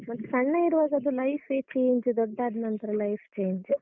ಮತ್ ಸಣ್ಣ ಇರುವಾಗ ಅದು life ಎ change ದೊಡ್ಡಾದ್ನಂತ್ರ life change .